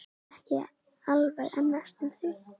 Ekki alveg en næstum því.